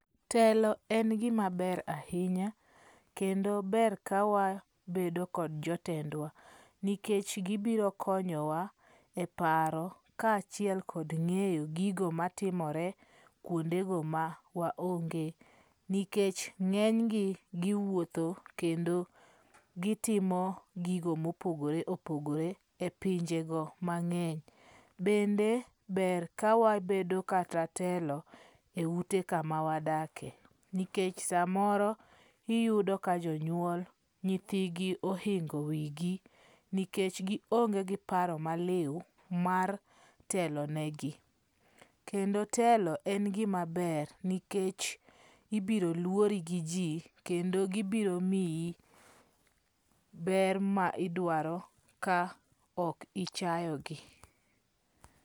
Telo en gima ber ahinya kendo ber ka wabedo kod jotendwa. Nikech gibiro konyowa e paro ka achiel kod ng'eyo gigo matimore kuondego ma wa onge. Nikech ng'eny gi giwuotho kendo gitimo gigo mopogore opogore e pinje go mang'eny. Bende ber kawabedo kata telo e ute kama wadake. Nikech samoro iyudo ka jonyuol nyithigi ohingo wi gi nikech gi onge gi paro maliw mar telo ne gi. Kendo telo en gimaber nikech ibiro luori gi ji kendo gibiromiyi ber ma idwaro ka ok ichayogi.